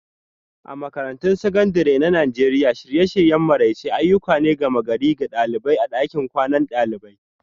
A Makarantun Sakandare na Najeriya, shirye-shiryen maraice ayyuka ne na gama-gari ga ɗalibai a ɗakin kwanan dalibai